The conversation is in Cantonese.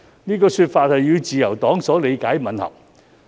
此說法與自由黨所理解的吻合。